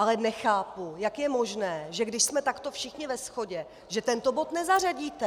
Ale nechápu, jak je možné, že když jsme takto všichni ve shodě, že tento bod nezařadíte.